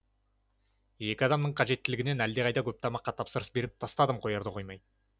екі адамның қажеттілігінен әлдеқайда көп тамаққа тапсырыс беріп тастадым қоярда қоймай